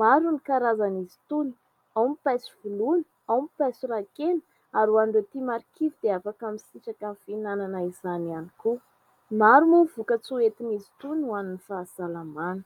Maro ny karazan'izy itony ao ny paiso voloina, ao ny paiso rà kena ary ho an'ireo tia marikivy dia afaka misitraka ny fihinanana izany ihany koa. Maro moa ny vokan-tsoa hoentin'izy itony ho an'ny fahasalamana.